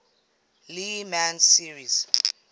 le mans series